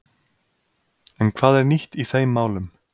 En hvað er nýtt í þeim málum?